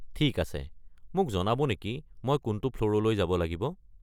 ঠিক আছে, মোক জনাব নেকি মই কোনটো ফ্ল'ৰলৈ যাব লাগিব?